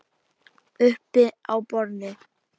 Uppi á borði?